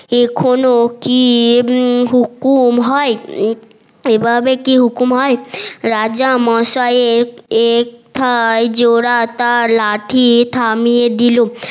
এখনো কি হুকুম হয় এভাবে কি হুকুম হয় রাজা মসাই এর লাঠি থামিয়ে দিলো